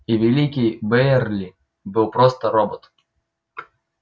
и великий бэйерли был просто робот